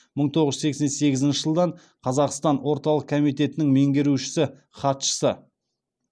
мың тоғыз жүз сексен сегізінші жылдан қазақстан орталық комитетінің меңгерушісі хатшысы